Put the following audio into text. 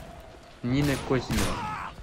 нина козина